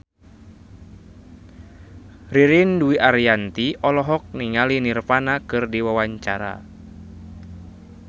Ririn Dwi Ariyanti olohok ningali Nirvana keur diwawancara